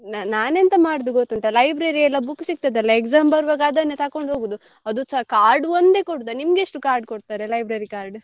ನ~ ನಾನೆಂತ ಮಾಡುದು ಗೊತ್ತುಂಟ library ಎಲ್ಲ book ಸಿಗ್ತದಲ exam ಬರುವಾಗ ಅದನ್ನೇ ತೆಕೊಂಡು ಹೋಗುದು ಅದುಸ card ಒಂದೇ ಕೊಡುದ ನಿಮ್ಗೆಷ್ಟು card ಕೊಡ್ತಾರೆ library card ?